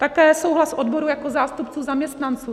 Také souhlas odborů jako zástupců zaměstnanců.